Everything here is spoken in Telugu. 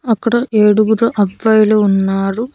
అక్కడ ఏడుగురు అబ్బాయిలు ఉన్నారు.